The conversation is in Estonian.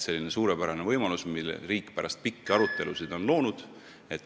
See on suurepärane võimalus, mille riik on pärast pikki arutelusid loonud.